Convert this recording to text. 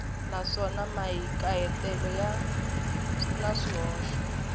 naswona mahikahatelo ya na swihoxo